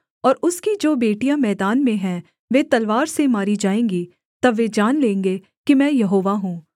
और उसकी जो बेटियाँ मैदान में हैं वे तलवार से मारी जाएँगी तब वे जान लेंगे कि मैं यहोवा हूँ